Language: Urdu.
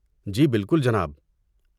جی بالکل، جناب۔